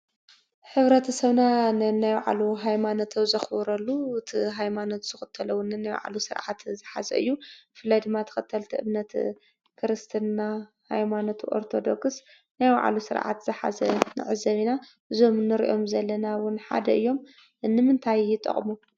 ሕብረተሰብና ነናይባዕሉ ሃይማኖት ዘኽብረሉ እቲ ሃይማኖት ዝኽተሎ ዉን ነናይባዕሉ ሥርዓት ዝሓዘ እዩ፡፡ ብፍላይ ድማ ተኸተልቲ እምነት ክርስትና ኃይማኖት ኣርተዶክስ ናይ ባዕሉ ሥርዓት ዝሓዘ ንዕዘብ ኢና እዞም ንሪኦም ዘለና ውን ሓደ እዮም፡፡ ንምንታይ ይጠቕሙ?